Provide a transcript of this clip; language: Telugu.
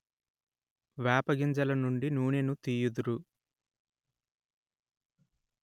వేప గింజల నుండి నూనెను తీయుదురు